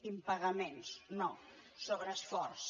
impagaments no sobreesforç